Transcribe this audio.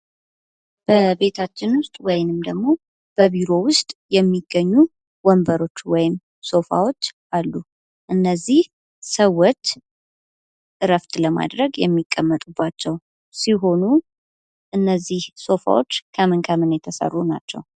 በቤታችን ውስጥ ወይም ደግሞ በቢሮ ውስጥ የሚገኙ ወንበሮች ፣ሶፋዎች አሉ። እነዚህ ሰዎች እረፍት ለማድረግ የሚቀመጡባቸው ሲሆኑ እነዚህ ሶፋዎች ከምን ከምን የተሰሩ ናቸው?